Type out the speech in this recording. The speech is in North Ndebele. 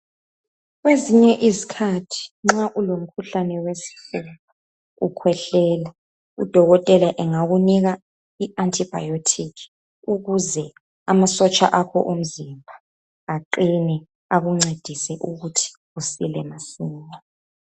Kwezinye izikhathi nxa ulomkhuhlane wesifuba, ukhwehlela udokotela engakunika iantibiotic ukuze amasotsha akho omzimba aqine akuncedise ukuthi usile masinya.